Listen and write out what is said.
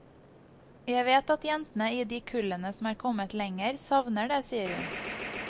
Jeg vet at jentene i de kullene som er kommet lenger, savner det, sier hun.